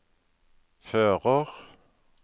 fører